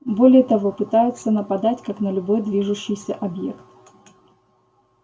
более того пытаются нападать как на любой движущийся объект